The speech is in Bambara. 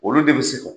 Olu de bɛ se ka